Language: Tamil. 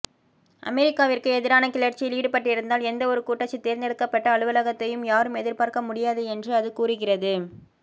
அமெரிக்காவிற்கு எதிரான கிளர்ச்சியில் ஈடுபட்டிருந்தால் எந்தவொரு கூட்டாட்சி தேர்ந்தெடுக்கப்பட்ட அலுவலகத்தையும் யாரும் எதிர்பார்க்க முடியாது என்று அது கூறுகிறது